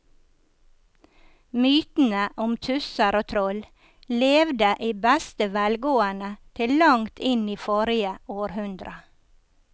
Mytene om tusser og troll levde i beste velgående til langt inn i forrige århundre.